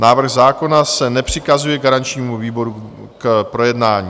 Návrh zákona se nepřikazuje garančnímu výboru k projednání.